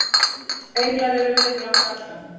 englar eru vinir okkar allra